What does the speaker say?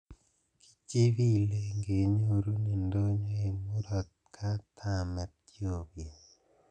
"Kichibilen kenyorun indonyo en Murot katam Ethiopia."